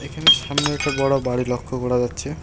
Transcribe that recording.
এখানে সামনে একটা বড় বাড়ি লক্ষ করা যাচ্ছে।